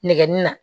Nɛgɛnni na